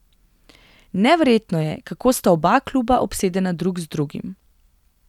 Neverjetno je, kako sta oba kluba obsedena drug z drugim.